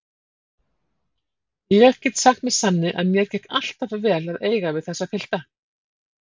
Ég get sagt með sanni að mér gekk alltaf vel að eiga við þessa pilta.